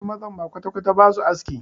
Wasu mazan ma kwatakwata ba su aski.